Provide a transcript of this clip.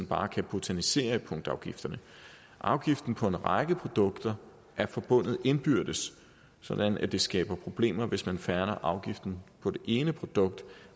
bare kan botanisere i punktafgifterne afgiften på en række produkter er forbundet indbyrdes sådan at det skaber problemer hvis man fjerner afgiften på det ene produkt